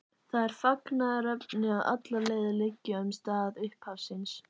Það er fagnaðarefni að allar leiðir liggja um stað upphafsins.